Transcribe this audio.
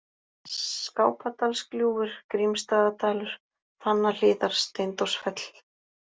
Skápadalsgljúfur, Grímsstaðadalur, Fannahlíðar, Steindórsfell